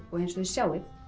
og eins og þið sjáið